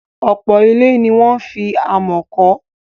Ọ̀pọ̀ ilé ni wọ́n fi amọ̀ kọ́.